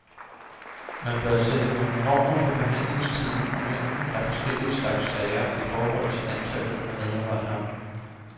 Man bør sætte nogle normer for behandlingstiden og mængden af forskellige slags sager i forhold til antallet af medarbejdere.